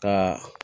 Ka